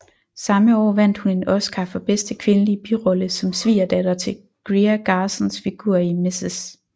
Samme år vandt hun en Oscar for bedste kvindelige birolle som svigerdatter til Greer Garsons figur i Mrs